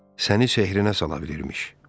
Səni sehrinə sala bilirmiş.